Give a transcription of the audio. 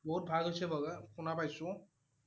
বহুত ভাল হৈছে বোলে, শুনা পাইছোঁ